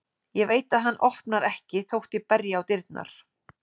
Ég veit að hann opnar ekki þótt ég berji á dyrnar.